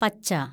പച്ച